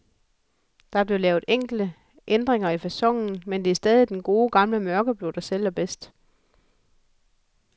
Der blev lavet enkelte ændringer i faconen, men det er stadig den gode, gamle mørkeblå, der sælger bedst.